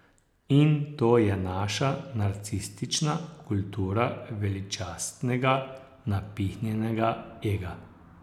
In to je naša narcistična kultura veličastnega, napihnjenega, ega.